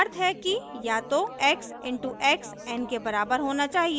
जिसका अर्थ है कि या तो x इन to x n के बराबर होना चाहिए